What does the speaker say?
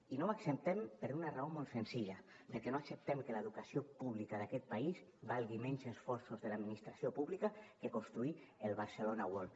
i no ho acceptem per una raó molt senzilla perquè no acceptem que l’educació pública d’aquest país valgui menys esforços de l’administració pública que construir el barcelona world